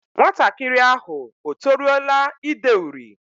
Nwatakịrị ahụ o toruola ide uri?